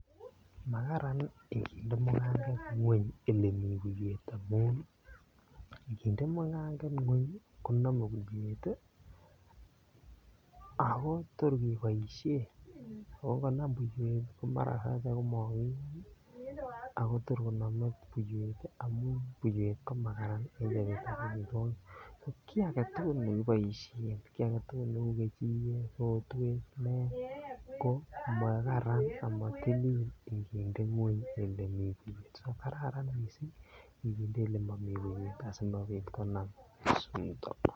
Makaran inginde mukanget ngweny elee buiwet amun nginde mukanget ngweny konome buiwet ak kotor keboishen, oo ngonam buiwet komara kor komokiun ak kotor konome buiwet amun buiwet komakaran en kabyukon, kii aketukul nekiboishen, kii aketukul neu kejiket, rotwet, nee ko makaran amotilil inginde gweny elemii buiwet, so kararan mising nginde elemomi buiwet asikobit konam chito.